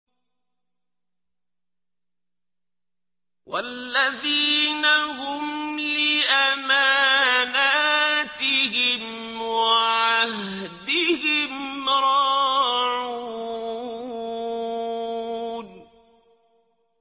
وَالَّذِينَ هُمْ لِأَمَانَاتِهِمْ وَعَهْدِهِمْ رَاعُونَ